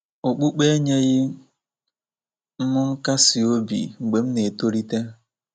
Okpukpe enyeghị m nkasi obi mgbe m na- etolite.